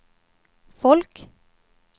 folk